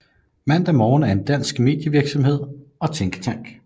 Mandag Morgen er en dansk medievirksomhed og tænketank